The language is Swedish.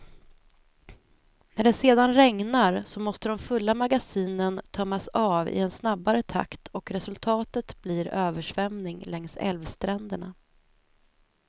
När det sedan regnar, så måste de fulla magasinen tömmas av i en snabbare takt och resultatet blir översvämning längs älvstränderna.